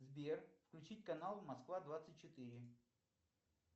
сбер включить канал москва двадцать четыре